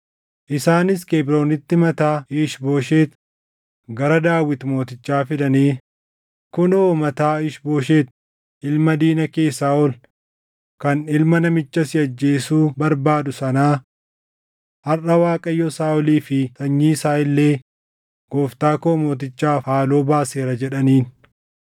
Isaanis Kebroonitti mataa Iish-Booshet gara Daawit mootichaa fidanii, “Kunoo mataa Iish-Booshet ilma diina kee Saaʼol kan ilma namicha si ajjeesuu barbaadu sanaa. Harʼa Waaqayyo Saaʼolii fi sanyii isaa illee gooftaa koo mootichaaf haaloo baaseera” jedhaniin.